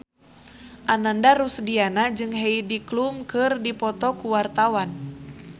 Ananda Rusdiana jeung Heidi Klum keur dipoto ku wartawan